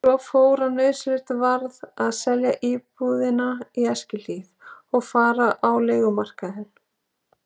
Svo fór að nauðsynlegt varð að selja íbúðina í Eskihlíð og fara á leigumarkaðinn.